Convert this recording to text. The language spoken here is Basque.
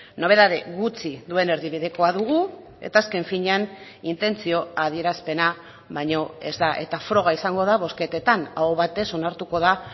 nobedade gutxi duen erdibidekoa dugu eta azken finean intentzio adierazpena baino ez da eta froga izango da bozketetan aho batez onartuko da